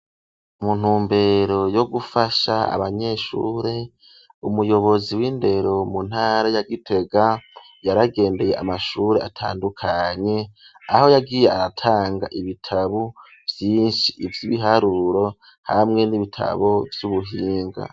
Mu ntumbero yo gufasha abanyeshuri, umuyobozi w'indero mu ntara ya Gitega yaragenbeye amashuri atandukanye, aho yagiye aratanga ibitabo vyinshi ivy'ibiharuro hamwe n'ibitabo vy'ubuhinga.